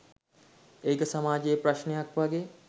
ඒක සමාජයෙ ප්‍රශ්නයක් වගේ